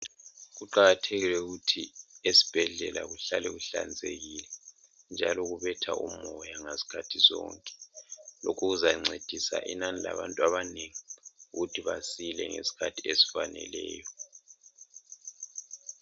Kuqakathekile ukuthi ezibhedlela kuhlale kuhlanzekile njalo kubetha umoya ngezikhathi zonke okuzancedisa inani labantu abanengi ukuthi basile ngesikhathi esifaneleyo